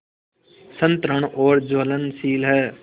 सतृष्ण और ज्वलनशील है